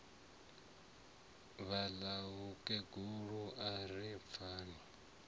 vhaḽa mukegulu a ri pfani